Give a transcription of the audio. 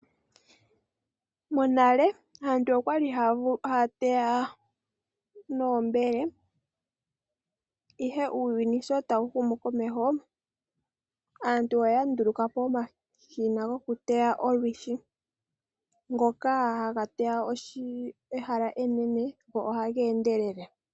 Monale aantu okwali haa teya noombele ihe uuyuni sho tawu humu komeho aantu oya ndulukapo eshina lyokuteya olwishi ngoka haga teya ehala enene go oha endelele.